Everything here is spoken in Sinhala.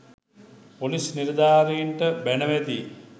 පොලිස් නිලධාරීන්ට බැණ වැදී